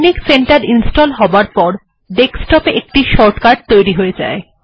technic centre install হবার পরে desktop এ একটা শর্টকাট তৈরী হয়ে যায়